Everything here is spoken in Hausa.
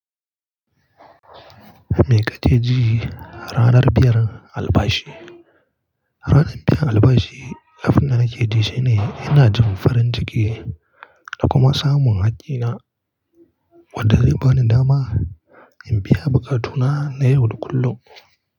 Mai kake ji, ranar biyar albashi. Ranar biyan albashi, abin da nake ji shine ina jin farin ciki da kuma samun haƙƙina. Wanda zai banin dama in biya buƙatuna na yau da kullum.